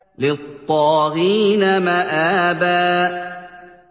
لِّلطَّاغِينَ مَآبًا